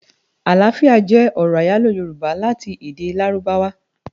Aláfiá jè òrò áyáló yórùbá láti èdè ládùbáwá